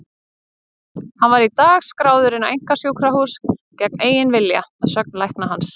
Hann var í dag skráður inn á einkasjúkrahús gegn eigin vilja, að sögn lækna hans.